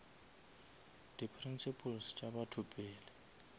di principles tša batho pele